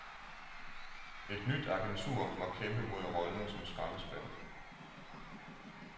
Et nyt agentur må kæmpe mod rollen som skraldespand.